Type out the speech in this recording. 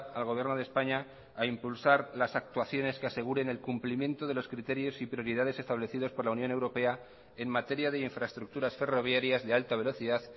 al gobierno de españa a impulsar las actuaciones que aseguren el cumplimiento de los criterios y prioridades establecidos por la unión europea en materia de infraestructuras ferroviarias de alta velocidad